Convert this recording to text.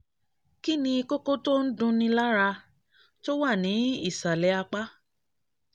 kí ni kókó tó ń dunni lára tó wà ní ìsàlẹ̀ apá?